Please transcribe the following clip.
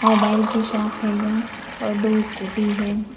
Mobile की shop है यह और दो स्कूटी हैं।